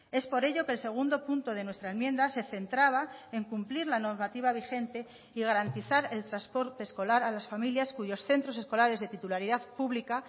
es por ello que el segundo punto de nuestra enmienda se centraba en cumplir la normativa vigente y garantizar el transporte escolar a las familias cuyos centros escolares de titularidad pública